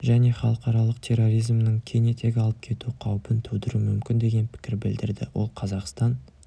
және халықаралық терроризмнің кең етек алып кету қаупін тудыруы мүмкін деген пікір білдірді ол қазақстан